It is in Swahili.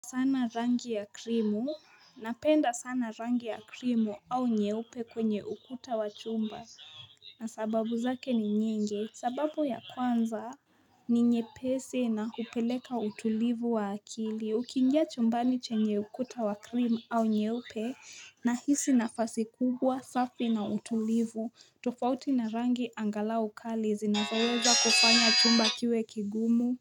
Sana rangi ya krimu, napenda sana rangi ya krimu au nyeupe kwenye ukuta wa chumba, na sababu zake ni nyingi, sababu ya kwanza ni nyepesi na hupeleka utulivu wa akili, ukiingia chumbani chenye ukuta wa krimu au nyeupe, nahisi nafasi kubwa safi na utulivu, tofauti na rangi angalau kali zinazoweza kufanya chumba kiwe kigumu,